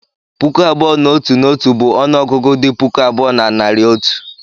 puku abụọ na otu na otu bụ ọnụ ọgụgụ dị puku abụọ na narị otu.